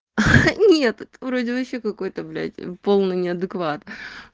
нет вроде ещё какой-то блять полный неадекват